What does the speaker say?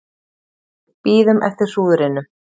Bíðum eftir hrúðrinu